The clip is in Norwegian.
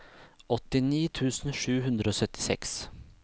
åttini tusen sju hundre og syttiseks